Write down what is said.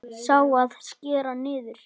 Sá, að skera niður.